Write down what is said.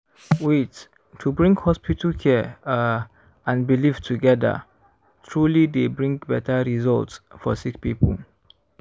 wait- to bring hospital care ah and belief togeda truely dey bring beta result for sick poeple.